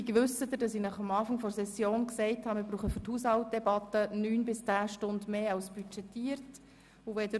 Gleichzeitig wissen Sie, dass ich zu Beginn der Session informiert habe, dass wir für die Haushaltdebatte neun bis zehn Stunden mehr als budgetiert benötigen.